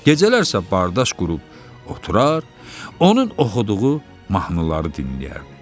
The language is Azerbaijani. Gecələr isə bardaş qurub oturur, onun oxuduğu mahnıları dinləyərdi.